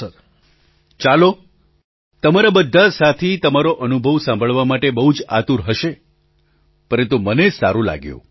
પ્રધાનમંત્રી ચાલો તમારા બધા સાથી તમારો અનુભવ સાંભળવા માટે બહુ જ આતુર હશે પરંતુ મને સારું લાગ્યું